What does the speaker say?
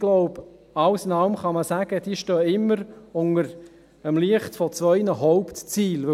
Ich glaube, alles in allem kann man sagen, diese stünden immer im Licht zweier Hauptziele.